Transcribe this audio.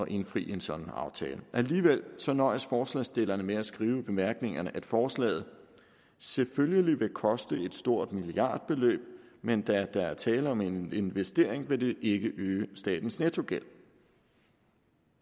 indfri en sådan aftale alligevel nøjes forslagsstillerne med at skrive i bemærkningerne at forslaget selvfølgelig vil koste et stort milliardbeløb men da der er tale om en investering vil det ikke øge statens nettogæld